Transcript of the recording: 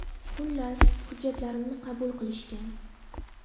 Xullas, hujjatlarimni qabul qilishgan.